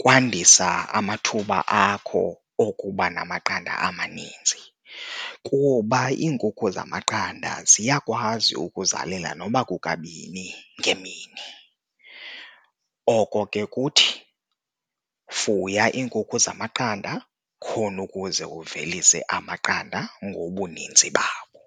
kwandisa amathuba akho okuba namaqanda amaninzi kuba iinkukhu zamaqanda ziyakwazi ukuzalela nokuba kukabini ngemini. Oko ke kuthi fuya iinkukhu zamaqanda khona ukuze uvelise amaqanda ngobuninzi bawo.